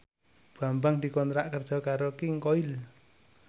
Bambang dikontrak kerja karo King Koil